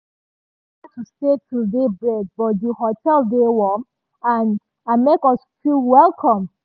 we nor plan to stay till daybreak but di hotel dey warm and and make us feel welcome.